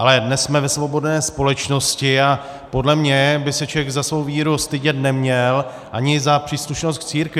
Ale dnes jsme ve svobodné společnosti a podle mě by se člověk za svou víru stydět neměl, ani za příslušnost k církvi.